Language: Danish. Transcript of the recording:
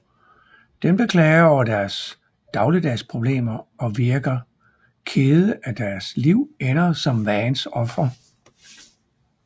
Dem der klager over deres dagligdags problemer og virke kede af deres liv ender som Vanns ofre